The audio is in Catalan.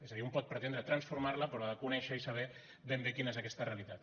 és a dir un pot pre·tendre transformar·la però ha de conèixer i saber ben bé quina és aquesta realitat